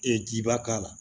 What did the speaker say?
Ee jiba k'a la